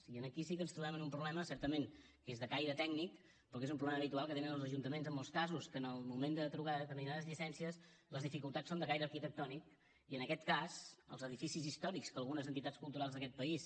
i aquí sí que ens trobem amb un problema certament que és de caire tècnic però que és un problema habitual que tenen els ajuntaments en molts casos que en el moment de trobar determinades llicències les dificultats són de caire arquitectònic i en aquest cas els edificis històrics que algunes entitats culturals d’aquest país